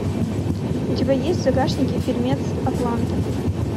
у тебя есть в загашнике фильмец атланта